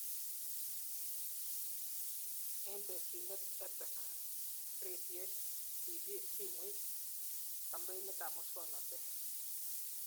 Eng tesinet, EdTech (redoit, TV, simoit, kampeinab muswonotet